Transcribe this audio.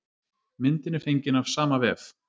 Myndin er fengin af sama vef.